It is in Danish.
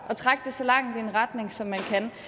at trække det så langt i en retning som man